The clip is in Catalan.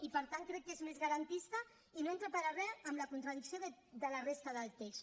i per tant crec que és més garantista i no entra per a res en contradicció amb la resta del text